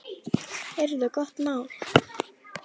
Heyrðu, gott mál.